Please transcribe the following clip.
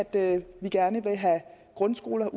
det at vi gerne vil have grundskoler